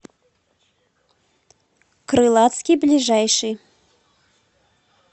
крылатский ближайший